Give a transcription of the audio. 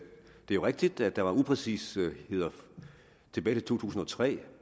jo rigtigt at der var upræcisheder tilbage i to tusind og tre